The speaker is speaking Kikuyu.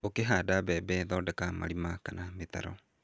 Ũkĩhanda mbembe thondeka marima kana mĩtaro.